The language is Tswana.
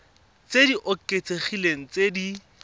tse di oketsegileng tse di